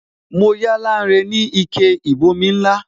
Mo yá Lanre ni ike ìbomi ńlá